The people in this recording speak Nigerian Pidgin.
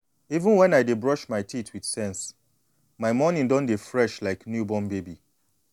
even when i dey brush my teeth with sense my morning don dey fresh like new born baby.